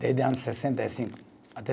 Desde ano sessenta e cinco até